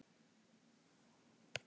Hvernig bregðist þið við því?